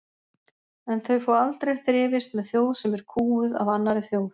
En þau fá aldrei þrifist með þjóð sem er kúguð af annarri þjóð.